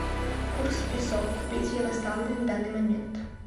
курс песо купить в ярославле на данный момент